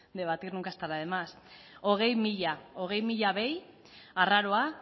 debatir nunca estará de más hogei mila hogei mila behi arraroa